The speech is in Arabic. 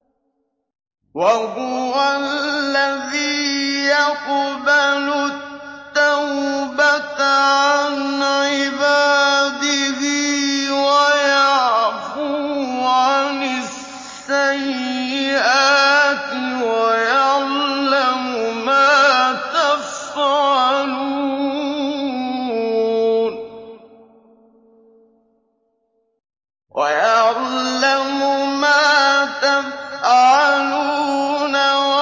وَهُوَ الَّذِي يَقْبَلُ التَّوْبَةَ عَنْ عِبَادِهِ وَيَعْفُو عَنِ السَّيِّئَاتِ وَيَعْلَمُ مَا تَفْعَلُونَ